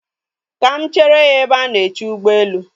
Ka mụ chere ya ebe a na-eche ụgbọelu